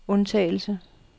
undtagelse